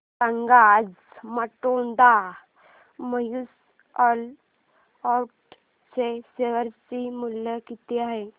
सांगा आज Baroda mutual fund च्या शेअर चे मूल्य किती आहे